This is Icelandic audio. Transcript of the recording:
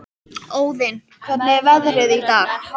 Óðinn, hvernig er veðrið í dag?